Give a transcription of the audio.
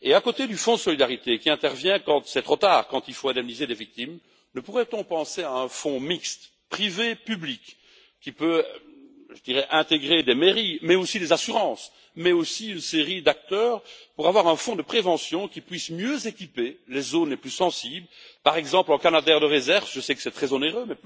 À côté du Fonds de solidarité, qui intervient quand il est trop tard, quand il faut indemniser les victimes, ne pourrait on pas penser à un fonds mixte privé public qui pourrait, par exemple, intégrer des mairies, des assurances et aussi une série d'acteurs pour avoir un fonds de prévention qui puisse mieux équiper les zones les plus sensibles, par exemple en canadairs de réserve même si je sais que c'est très onéreux